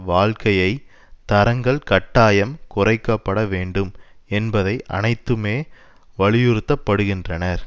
வாழ்க்கையை தரங்கள் கட்டாயம் குறைக்க பட வேண்டும் என்பதை அனைத்துமே வலியுறுத்தப்படுகின்றனர்